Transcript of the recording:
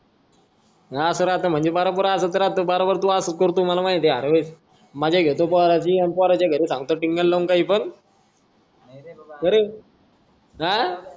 हा तर आता म्हणजे बराबरअसच राहत बराबर तू असच करतो मला माहीत आहे अरे मजा घेतो पोराची आणि पोराच्या घरी सांगतो टिंगल लावून काही पण नाहीरे बाबा का रे आह